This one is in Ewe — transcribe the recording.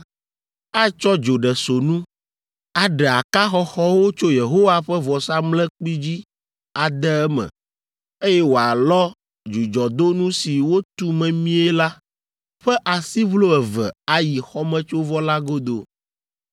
atsɔ dzoɖesonu, aɖe aka xɔxɔwo tso Yehowa ƒe vɔsamlekpui dzi ade eme, eye wòalɔ dzudzɔdonu si wotu memie la ƒe asiʋlo eve ayi xɔmetsovɔ la godo.